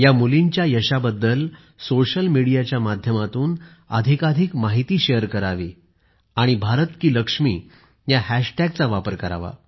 या मुलींच्या यशाबद्दल सोशल मीडियाच्या माध्यमातून अधिकाधिक माहिती शेअर करावी आणि भारत की लक्ष्मी या हॅशटॅगचा वापर करावा